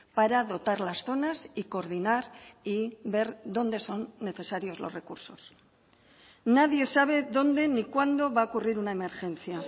para dotar las zonas y coordinar y ver dónde son necesarios los recursos nadie sabe dónde ni cuándo va a ocurrir una emergencia